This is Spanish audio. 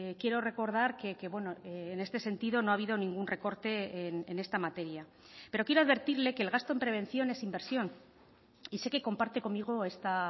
quiero recordar que en este sentido no ha habido ningún recorte en esta materia pero quiero advertirle que el gasto en prevención es inversión y sé que comparte conmigo esta